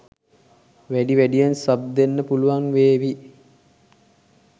වැඩි වැඩියෙන් සබ් දෙන්න පුළුවන් වේව